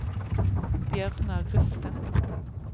Bjørnar Rusten